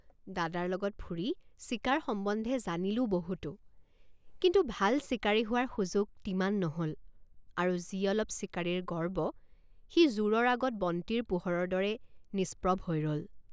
দাদাৰ লগত ফুৰি চিকাৰ সম্বন্ধে জানিলোঁ বহুতো কিন্তু ভাল চিকাৰী হোৱাৰ সুযোগ তিমান নহল আৰু যি অলপ চিকাৰীৰ গৰ্ব সি জোঁৰৰ আগত বন্তিৰ পোহৰৰ দৰে নিষ্প্ৰভ হৈ ৰল।